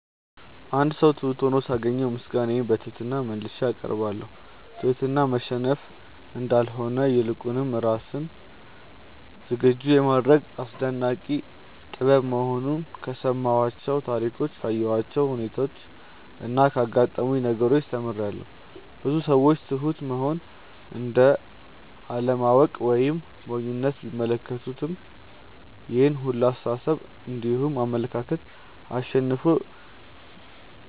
አንድ ሰው ትሁት ሁኖ ሳገኘው ምስጋናዬን በትህትና መልሼ አቀርባለሁ። ትህትና መሸነፍ እንዳልሆነ ይልቁንም ራስን ዝግጁ የማድረግ አስደናቂ ጥበብ መሆኑን ከሰማኋቸው ታሪኮች ካየኋቸው ሁነቾች እና ካጋጠሙኝ ነገሮች ተምሬያለው። ብዙ ሰዎች ትሁት መሆንን እንደ አለማወቅ ወይም ሞኝነት ቢመለከቱትም ይሄን ሁላ አስተሳሰብ እንዲሁም አመለካከት አሸንፎ